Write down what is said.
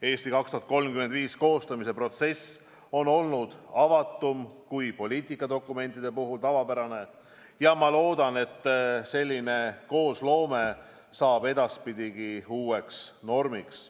"Eesti 2035" koostamise protsess on olnud avatum kui poliitikadokumentide puhul tavapärane ja ma loodan, et selline koosloome saab edaspidi uueks normiks.